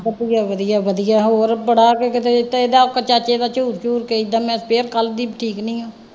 ਵਧੀਆ ਵਧੀਆ ਵਧੀਆ ਹੋਰ ਬੜਾ ਕੇ ਕਿਤੇ ਦਿੱਤਾ, ਇਹਦਾ ਆਪਦਾ ਚਾਚੇ ਦਾ ਝੂਰ ਝੂਰ ਕੇ ਏਦਾਂ ਮੈਂ ਫੇਰ ਕੱਲ੍ਹ ਦੀ ਠੀਕ ਨਹੀਂ ਹਾਂ